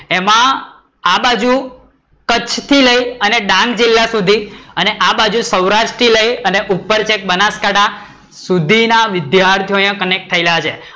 એમાં આ બાજુ કચ્છ થી લઈ અને ડાંગ જિલ્લા સુધી અને આ બાજુ સૌરાષ્ટ્ર થી લઈ અને ઉપર કઈ બનસકાંઠા સુધી ના વિદ્યાર્થીઓ અહીંયા કન્નેક્ટ થયેલા છે